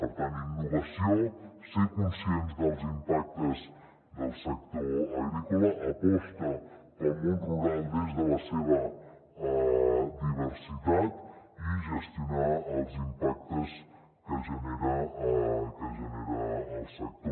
per tant innovació ser conscients dels impactes del sector agrícola aposta pel món rural des de la seva diversitat i gestionar els impactes que genera el sector